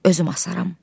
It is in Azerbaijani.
Özüm asaram.